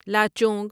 Lachung